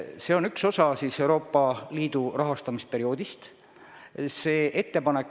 See on üks osa Euroopa Liidu rahastamisperioodist.